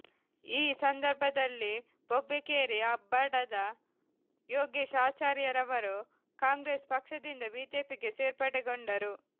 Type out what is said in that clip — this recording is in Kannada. ಈ ಸಂದರ್ಭದಲ್ಲಿ ಬೊಬ್ಬೆಕೇರಿ ಅಬ್ಬಡದ ಯೋಗಿಶ್ ಆಚಾರ್ಯರವರು ಕಾಂಗ್ರೆಸ್ ಪಕ್ಷದಿಂದ ಬಿಜೆಪಿಗೆ ಸೇರ್ಪಡೆಗೊಂಡರು